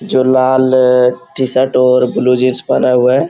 जो लाल टी-शर्ट और ब्लू जींस पहना हुआ है।